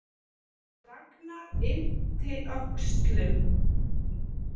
Ragnar yppti öxlum.